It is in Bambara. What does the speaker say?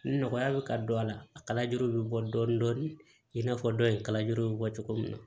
Nɔgɔya bɛ ka don a la a kalajuru bɛ bɔ dɔɔnin dɔɔnin i n'a fɔ dɔ in kala juru bɛ bɔ cogo min na